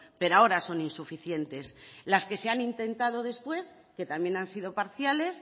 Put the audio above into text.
pero ahora son insuficientes las que se han intentado después que también han sido parciales